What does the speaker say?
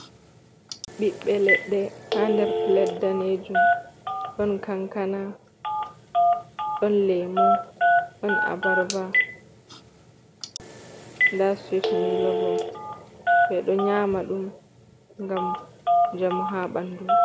ɓiɓɓe leɗɗe ha nder plate danejum. Ɗon kankana, don lemu, ɗon abarba, nda sweet milo. Ɓeɗo nyama ɗum ngam njamu ha ɓandu.